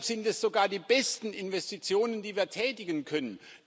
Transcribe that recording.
Deshalb sind das sogar die besten Investitionen, die wir tätigen können.